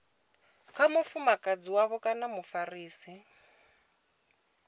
kha mufumakadzi wavho kana mufarisi